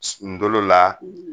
sunu dolo la